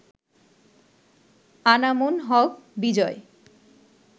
Anamul Haque Bijoy